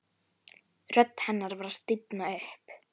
Rödd hennar var að stífna upp.